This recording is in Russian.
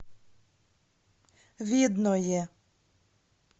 видное